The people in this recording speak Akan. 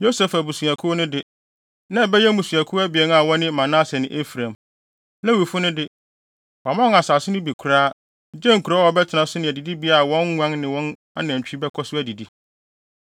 Yosef abusuakuw no de, na abɛyɛ mmusuakuw abien a wɔne Manase ne Efraim. Lewifo no de, wɔamma wɔn asase no mu bi koraa, gye nkurow a wɔbɛtena so ne adidibea a wɔn nguan ne wɔn anantwi bɛkɔ so adidi.